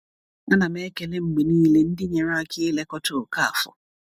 A na m ekele mgbe niile ndị nyere aka ilekọta Okafor.